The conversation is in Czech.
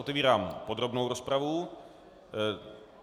Otevírám podrobnou rozpravu.